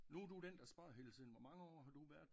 Nu er du den der spørger hele tiden hvor mange år har du været